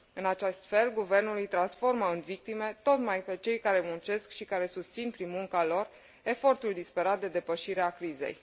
În acest fel, guvernul îi transformă în victime tocmai pe cei care muncesc și care susțin, prin munca lor, efortul disperat de depășire a crizei.